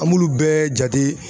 An m'ulu bɛɛ jate